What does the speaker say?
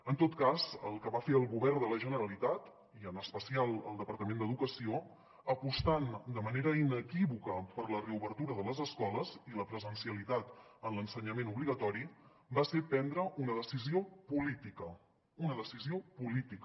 en tot cas el que va fer el govern de la generalitat i en especial el departament d’educació apostant de manera inequívoca per la reobertura de les escoles i la presencialitat en l’ensenyament obligatori va ser prendre una decisió política una decisió política